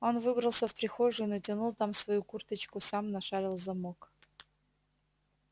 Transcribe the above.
он выбрался в прихожую натянул там свою курточку сам нашарил замок